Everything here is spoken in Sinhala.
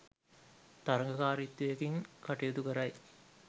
තරගකාරීත්වයකින් කටයුතු කරයි